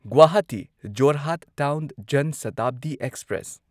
Guwahati Jorhat town Jan Shatabdi express